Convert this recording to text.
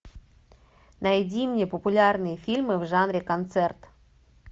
найди мне популярные фильмы в жанре концерт